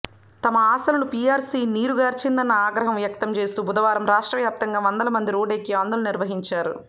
తమ ఆశలను పీఆర్సీ నీరుగార్చిందని ఆగ్రహం వ్యక్తంచేస్తూ బుధవారం రాష్ట్ర వ్యాప్తంగా వందల మంది రోడ్డెక్కి ఆందోళన నిర్వహించారు